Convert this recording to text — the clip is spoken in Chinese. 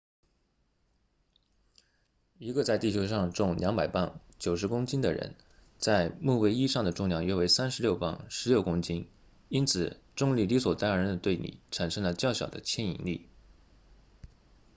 一个在地球上重200磅90公斤的人在木卫一上的重量约为36磅16公斤因此重力理所当然地对你产生了较小的牵引力